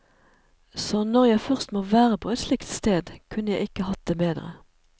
Så når jeg først må være på et slikt sted, kunne jeg ikke hatt det bedre.